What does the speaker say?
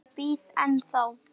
Ég bíð ennþá!